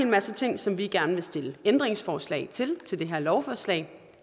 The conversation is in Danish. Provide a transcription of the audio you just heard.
masse ting som vi gerne vil stille ændringsforslag til i forhold til det her lovforslag